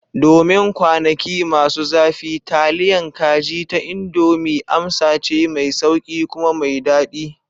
Domin kwanaki masu zafi, taliyan kaji ta Indomie amsa ce mai sauƙi kuma mai daɗi.